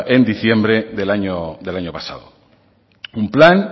en diciembre del año pasado un plan